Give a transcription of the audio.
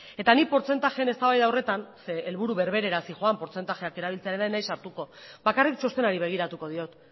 eta nik portzentaien eztabaida horretan zeren helburu berberera zioan portzentaiak erabiltzearena ez naiz sartuko bakarrik txostenari begiratuko diot